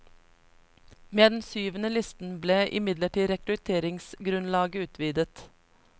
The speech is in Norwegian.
Med den syvende listen ble imidlertid rekrutteringsgrunnlaget utvidet.